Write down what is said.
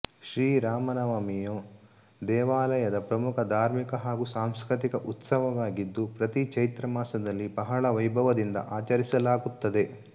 ಶ್ರೀ ರಾಮ ನವಮಿಯು ದೇವಾಲಯದ ಪ್ರಮುಖ ಧಾರ್ಮಿಕ ಹಾಗೂ ಸಾಂಸ್ಕೃತಿಕ ಉತ್ಸವವಾಗಿದ್ದು ಪ್ರತಿ ಚೈತ್ರ ಮಾಸದಲ್ಲಿ ಬಹಳ ವೈಭವದಿಂದ ಆಚರಿಸಲಾಗುತ್ತದೆ